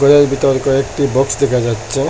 ঘরের ভিতর কয়েকটি বক্স দেখা যাচ্ছে।